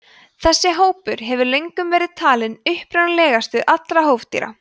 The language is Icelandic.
þessi hópur hefur löngum verið talinn upprunalegastur allra hófdýra